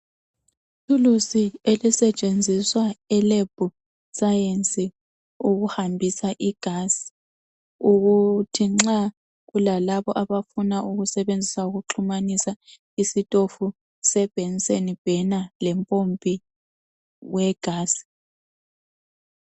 Ithulusi elisetshenziswa e"lab science" ukuhambisa igazi ukuthi nxa kulalabo abafuna ukusebenzisa ukuxhumanisa isitofu se" Benson burner" lempompi we"gas".